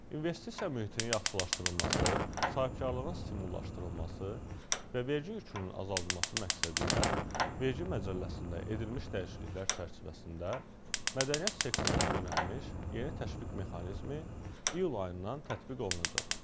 İnvestisiya mühitinin yaxşılaşdırılması, sahibkarlığın stimullaşdırılması və vergi yükünün azaldılması məqsədilə vergi məcəlləsində edilmiş dəyişikliklər çərçivəsində mədəniyyət sektoruna yönəlmiş yeni təşviq mexanizmi iyul ayından tətbiq olunacaq.